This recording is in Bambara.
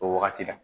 O wagati la